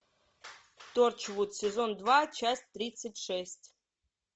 торчвуд сезон два часть тридцать шесть